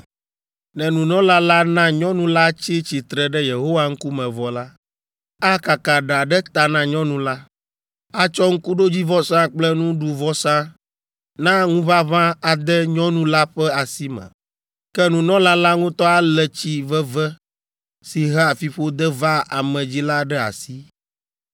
Ne nunɔla la na nyɔnu la tsi tsitre ɖe Yehowa ŋkume vɔ la, akaka ɖa ɖe ta na nyɔnu la, atsɔ ŋkuɖodzivɔsa kple nuɖuvɔsa na ŋuʋaʋã ade nyɔnu la ƒe asi me. Ke nunɔla la ŋutɔ alé tsi veve si hea fiƒode vaa ame dzi la ɖe asi.